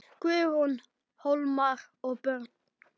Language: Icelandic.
Guðrún, Hólmar og börn.